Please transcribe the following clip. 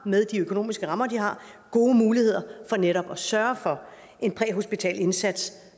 med de økonomiske rammer de har har gode muligheder for netop at sørge for en præhospital indsats